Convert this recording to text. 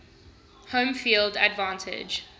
home field advantage